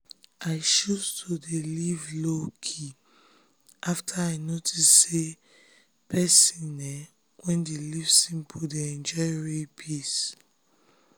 i choose to dey live low-key after i notice say person um wey dey live simple dey enjoy real peace.